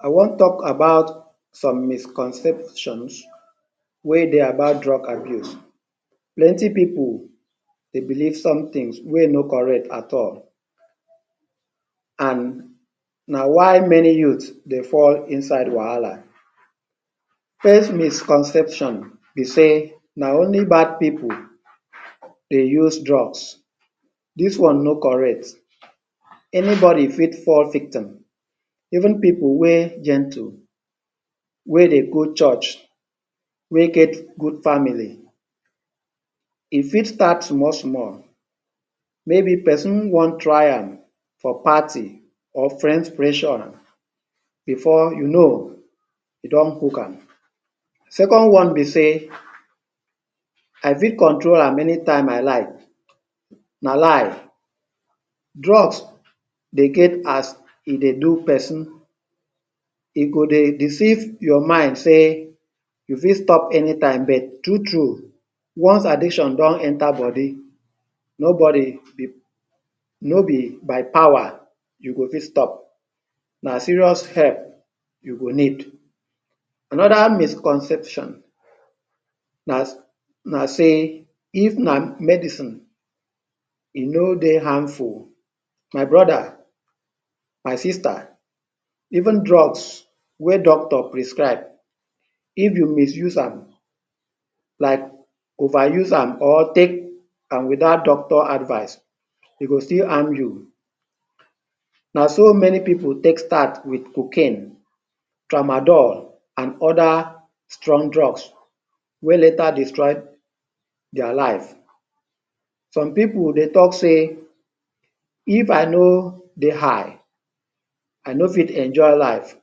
I wan talk about some misconceptions wey dey about drug abuse. Plenty pipu dey believe some things wey no correct at all and na why many youths dey fall inside wahala. First misconception be sey na only bad pipu dey use drugs. Dis one no correct. Anybody fit fall victim, even pipu wey gentle, wey dey go church, wey get good family. E fit start small small, maybe pesin wey wan try am for party or friends’ pressure before you know you don hook am. Second one be sey, I fit control am any time I like, na lie. Drugs dey get as e dey do person. E go dey deceive your mind sey you fit stop anytime but true true, once addiction don enter body, nobody de no be by power you go fit stop. Na serious help you go need. Another misconception na na sey, if na medicine e no dey harmful. My brother, my sister, even drugs wey doctor prescribe, if you misuse am like overuse am or take am without doctor advice, e go still harm you. Na so many pipu take start with cocaine, tramadol and other strong drugs, wey later destroy their life. Some pipu dey talk say, if I no dey high, I no fit enjoy life,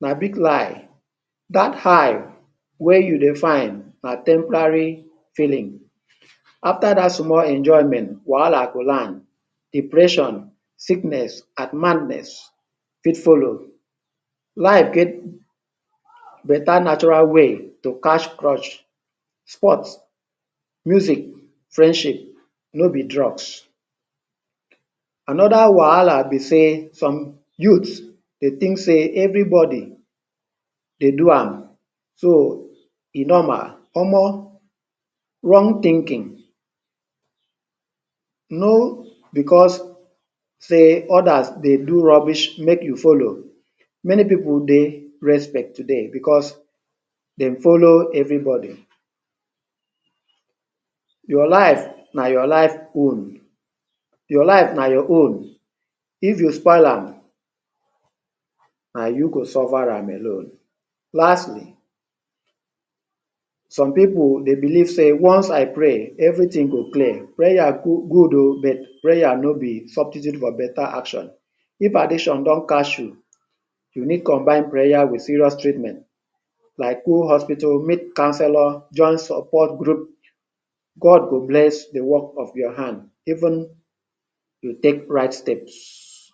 na big lie. Dat high wey you dey find na temporary feeling. After dat small enjoyment, wahala go land, depression, sickness and madness fit follow. Life get better natural way to catch crush, sports, music, friendship, no be drugs. Another wahala be sey, some youths dey think sey everybody dey do am, so e normal. Omo, wrong thinking. No because sey others dey do rubbish make you follow. Many pipu dey respect today because they follow everybody. Your life na your life own. Your life na your own. If you spoil am, na you go suffer am alone. Lastly, some pipu dey believe sey, once I pray, everything go clear. Prayer good oh but prayer no be substitute for better action. If addiction don catch you, you need combine prayer with serious treatment. Like go hospital, meet counsellor, join support group. God will bless the work of your hand, even you take right steps.